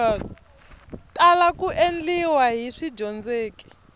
tala ku endliwa hi swidyondzeki